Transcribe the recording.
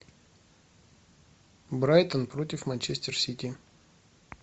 брайтон против манчестер сити